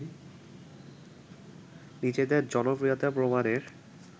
নিজেদের জনপ্রিয়তা প্রমাণের